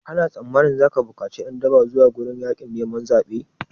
Kana tsammani zaka bukaci ƴan daba zuwa gurin yaƙin neman zaɓe?